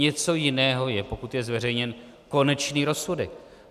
Něco jiného je, pokud je zveřejněn konečný rozsudek.